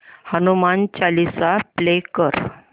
Hanuman Chalisa play कर